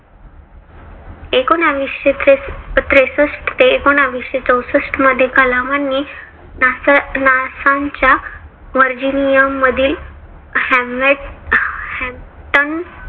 एकोनाविशे त्रेसष्ट ते एकोनाविशे चौसष्ट मध्ये कलामांनी नासा चं नासांच्या व्हर्जिनियममधील हॅम्लेट